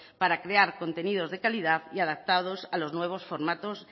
para crear contenidos de calidad y adaptados a los nuevos formatos